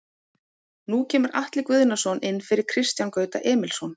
Nú kemur Atli Guðnason inn fyrir Kristján Gauta Emilsson.